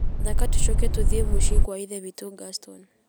thaaka tũcoke tũthiĩ mũciĩ gwa ithe witũ Gaston